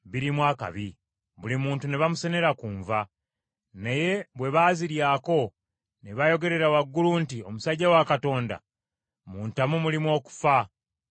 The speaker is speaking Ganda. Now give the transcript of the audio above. Buli muntu ne bamusenera ku nva; naye bwe baaziryako, ne bayogerera waggulu nti, “Omusajja wa Katonda mu ntamu mulimu okufa.” Ne batazirya.